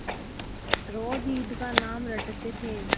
रोज ईद का नाम रटते थे